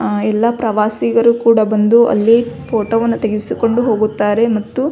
ಅ ಎಲ್ಲಾ ಪ್ರವಾಸಿಗರು ಕೂಡ ಬಂದು ಅಲ್ಲಿ ಫೋಟೋ ವನ್ನು ತೆಗಿಸಿಕೊಂಡು ಹೋಗುತ್ತಾರೆ ಮತ್ತು --